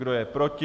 kdo je proti?